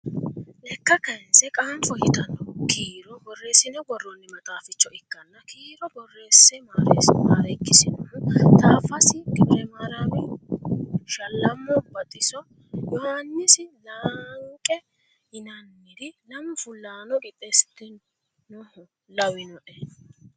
Lekka kayinse qaanfo yitano kiiro borreesine woronni maxaaficho ikkanna kiiro borreesse marekisinohu Taaffasa G.Maarami Shallammo Baxiso Yohaannisi lenqa yinanniri lamu fulahano qixeesitinoho lawinoe.